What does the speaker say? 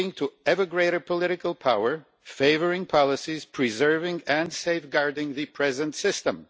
with ever greater political power in favour of policies preserving and safeguarding the present system.